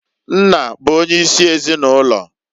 Nna bụ onye isi ezinụlọ.